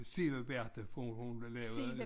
Sæbeberta for hun lavede